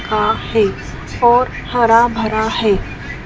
आ है और हरा भरा है।